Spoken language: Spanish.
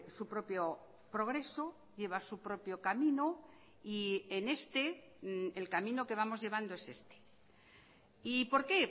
su propio progreso lleva su propio camino y en este el camino que vamos llevando es este y por qué